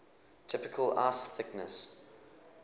typical ice thickness